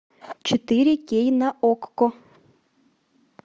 четыре кей на окко